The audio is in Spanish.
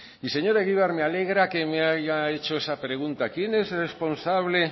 y señor egibar me alegra que me haya hecho esa pregunta quién es responsable